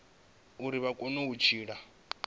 uri vha kone u tshila